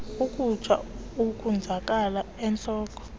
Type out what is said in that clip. ukutsha ukonzakala entloko